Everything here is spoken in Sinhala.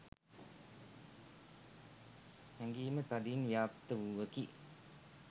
හැඟීම තදින් ව්‍යාප්ත වූවකි